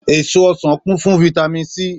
Èso ọsàn ọ kún fún vitami Sí